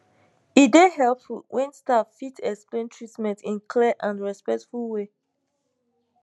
e dey helpful when staff fit explain treatment in clear and respectful way